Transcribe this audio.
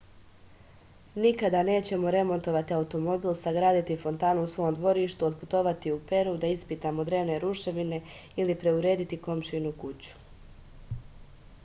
nikada nećemo remontovati automobil sagraditi fontanu u svom dvorištu otputovati u peru da ispitamo drevne ruševine ili preurediti komšijinu kuću